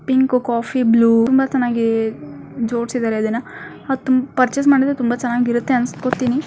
Pink coffee blue ತುಂಬಾ ಚನ್ನಾಗೇ ಜೋಡಿಸಿದ್ದಾರೆ ಇದ್ದಾನ. ಮತ್ತು ಪರ್ಚೆಸ್ ಮಾಡುದ್ರು ತುಂಬಾ ಚನ್ನಾಗಿ ಇರುತ್ತೆ ಅನಿಸ್ಕೊತ್ತೀನಿ.